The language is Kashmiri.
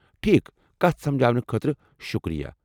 ٹھیكھ ، کتھ سمجاونہٕ خٲطرٕ شکریہ۔